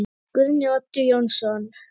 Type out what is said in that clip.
Guðni Oddur Jónsson